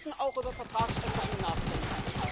Wir müssen auch über Vertragsänderungen nachdenken.